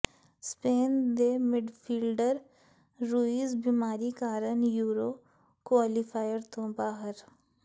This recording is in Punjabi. ਸਪੇਨ ਦੇ ਮਿਡਫੀਲਡਰ ਰੂਈਜ਼ ਬੀਮਾਰੀ ਕਾਰਨ ਯੂਰੋ ਕੁਆਲੀਫਾਇਰ ਤੋਂ ਬਾਹਰ